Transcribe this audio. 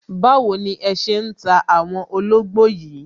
Báwo ni ẹ ṣé ń ta àwọn ológbò yìí